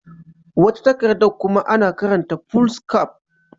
Wata takardar kuma ana kiranta Foolscap.